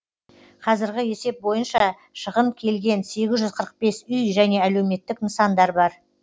қазіргі есеп бойынша шығын келген сегіз жүз қырық бес үй және әлеуметтік нысандар бар